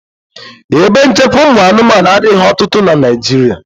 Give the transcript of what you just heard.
Ebe nchekwa ụmụ anụmanụ adịghị ọtụtụ na Naịjirịa.